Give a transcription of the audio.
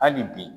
Hali bi